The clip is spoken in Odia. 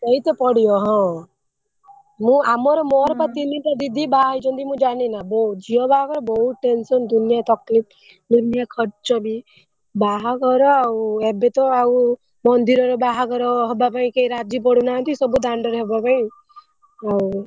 ଦେଇତେ ପଡିବ ହଁ ମୁ ଆମର ମୋର ବା ତିନି ଟା ଦିଦି ବାହାହେଇଛନ୍ତି ମୁ ଜାଣିନୀ ନା ବହୁତ ଝିଅ ବାହାଘର ବହୁତ tension ଦୁନିୟା ତକଲିଫ ଦୁନିୟା ଖର୍ଚ ବି ବାହାଘର ଆଉ ଏବେ ତ ଆଉ ମନ୍ଦିରରେ ବାହାଘର ହବ ପାଇଁ କେହି ରାଜି ପଡୁନାହାନ୍ତି ସବୁ ଦାଣ୍ଡରେ ହବା ପାଇଁ ଆଉ।